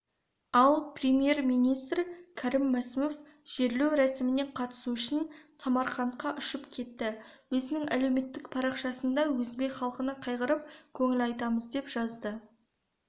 ал премьер-министр кәрім мәсімов жерлеу рәсіміне қатысу үшін самарқандқа ұшып кетті өзінің әлеуметтік парақшасында өзбек халқына қайғырып көңіл айтамыз деп жазды